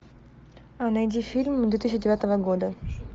найди фильм две тысячи девятого года